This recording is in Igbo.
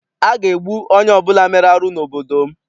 A ga-egbu onye ọbụla mere arụ n'obodo m.